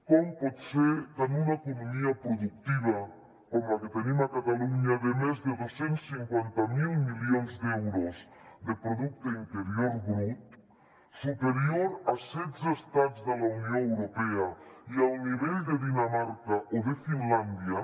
com pot ser que en una economia productiva com la que tenim a catalunya de més de dos cents i cinquanta miler milions d’euros de producte interior brut superior a setze estats de la unió europea i al nivell de dinamarca o de finlàndia